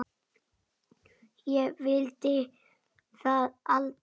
Ég vildi það aldrei.